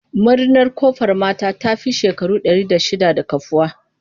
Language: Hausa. Marinar Ƙofar mata ta fi shekaru ɗari shidda da kafuwa.